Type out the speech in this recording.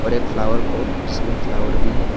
एक flower pot जिसमें flower भी है।